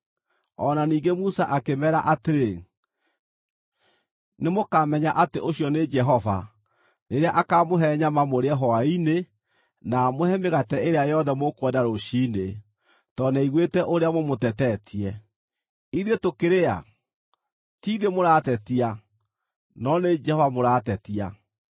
O na ningĩ Musa akĩmeera atĩrĩ, “Nĩmũkamenya atĩ ũcio nĩ Jehova, rĩrĩa akaamũhe nyama mũrĩe hwaĩ-inĩ na amũhe mĩgate ĩrĩa yothe mũkwenda rũciinĩ, tondũ nĩaiguĩte ũrĩa mũmũtetetie. Ithuĩ tũkĩrĩ a? Ti ithuĩ mũratetia, no nĩ Jehova mũratetia.”